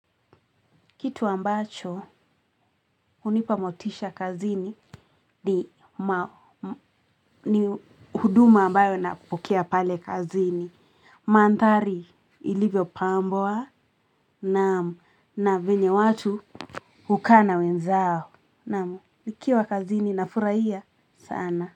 Kitu ambacho unipamotisha kazini ni huduma ambayo na kupokea pale kazini. Manthari ilivyo pambwa naam na venye watu hukaa na wenzao. Naam. Nikiwa kazini na furaia sana.